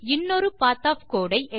இன்னொரு path of code I